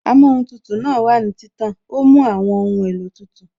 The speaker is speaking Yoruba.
Amóhun tutù náà wà ní títàn, ó mú àwọn ohun èlò tútù